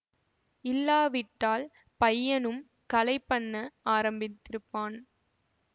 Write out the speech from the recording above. இல்லாவிட்டால் பையனும் கலை பண்ண ஆரம்பித்திருப்பான்